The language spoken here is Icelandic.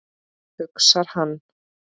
hugsar hann.